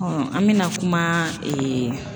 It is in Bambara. an mɛna kuma